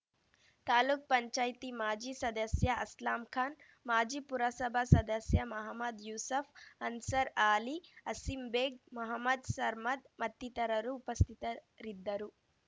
ತಾಲೂಕ್ಪಂಚಾಯ್ತಿ ಮಾಜಿ ಸದಸ್ಯ ಅಸ್ಲಾಂ ಖಾನ್‌ ಮಾಜಿ ಪುರಸಭಾ ಸದಸ್ಯ ಮಹಮದ್‌ ಯೂಸಫ್‌ ಅನ್ಸರ್ ಆಲಿ ಆಸೀಂ ಬೇಗ್‌ ಮೊಹಮದ್‌ ಸರ್ಮದ್‌ ಮತ್ತಿತರರು ಉಪಸ್ಥಿತರಿದ್ದರು